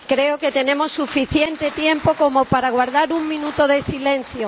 Creo que tenemos suficiente tiempo como para guardar un minuto de silencio.